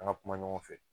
An ka kuma ɲɔgɔn fɛ